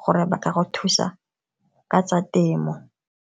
gore ba ka go thusa ka tsa temo.